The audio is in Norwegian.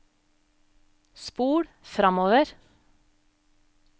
spol framover